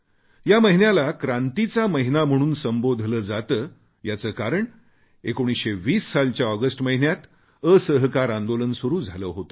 या महिन्याला क्रांतीचा महिना म्हणून संबोधले जाते याचे कारण 1920 सालच्या ऑगस्ट महिन्यात असहकार आंदोलन सुरू झाले होते